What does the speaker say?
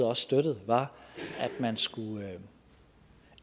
også støttede var at man skulle